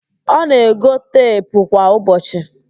Ọ na-ego teepụ kwa ụbọchị